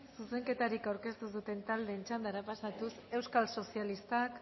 zuzenketarik aurkeztu ez duten taldeen txandara pasatuz euskal sozialistak